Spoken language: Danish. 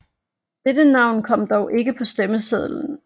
Dette navn kom dog ikke på stemmesedlen